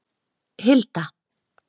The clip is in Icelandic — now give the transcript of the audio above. Hilda